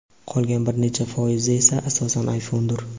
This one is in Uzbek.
qolgan bir necha foizi esa asosan iPhone’dir.